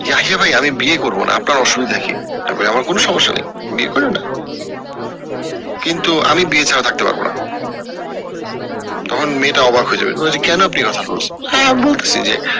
ভাই আমি বিয়ে করবো না আপনার অসুবিধা কি আমি বলি আমার কোনো সমস্যা নাই বিয়ে করিও না কিন্তু আমি বিয়ে ছাড়া থাকতে পারবো না তখন মেয়েটা অবাক হয়ে যাবে কেন আপনি একথা বললেন